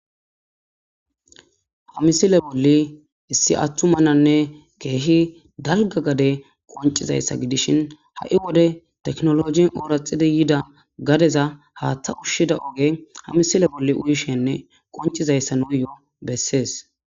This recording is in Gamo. ha misile bolli issi attu mananne keehi dalga gade qoncizayssa gidishin ha7i wode teknologin ooraxidi yida gadeza haaththa ushshida oge hamisile bolli uyishenne qoncizayssa nuyoo bessees